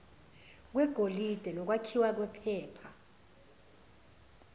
kwegolide nokwakhiwa kwephepha